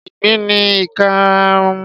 Ìgbín ní ìkarahun.